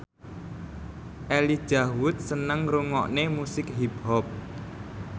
Elijah Wood seneng ngrungokne musik hip hop